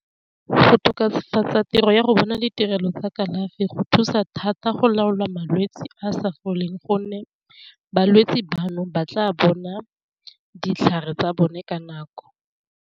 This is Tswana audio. Go tokafatsa tiro ya go bona ditirelo tsa kalafi go thusa thata go laola malwetsi a sa foleng gonne balwetsi bano, ba tla bona ditlhare tsa bone ka nako.